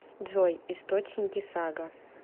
джой источники сага